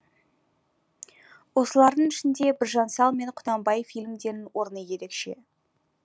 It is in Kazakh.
осылардың ішінде біржан сал мен құнанбай фильмдерінің орны ерекше